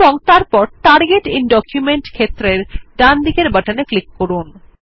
তারপর target IN document ক্ষেত্রের ডানদিকের বাটনে ক্লিক করুন